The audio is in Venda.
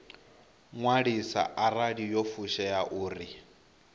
ṅwaliswa arali yo fushea uri